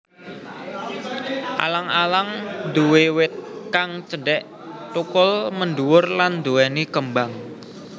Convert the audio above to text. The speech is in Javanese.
Alang alang nduwé wit kang cendhek thukul mendhuwur lan nduwèni kembang